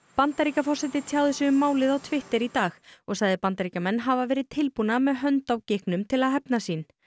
Bandaríkjaforseti tjáði sig um málið á Twitter í dag og sagði Bandaríkjamenn hafa verið tilbúna með hönd á til að hefna sín